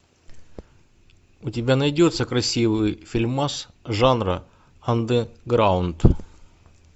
у тебя найдется красивый фильмас жанра андерграунд